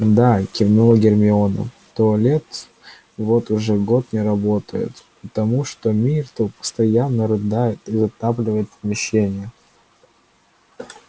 да кивнула гермиона туалет вот уже год не работает потому что миртл постоянно рыдает и затапливает помещение